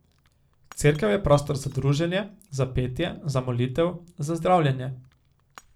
Cerkev je prostor za druženje, za petje, za molitev, za zdravljenje.